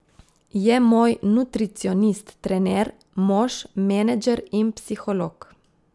Je moj nutricionist, trener, mož, menedžer in psiholog.